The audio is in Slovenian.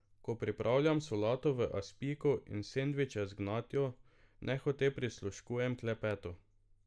Ko pripravljam solato v aspiku in sendviče z gnjatjo, nehote prisluškujem klepetu.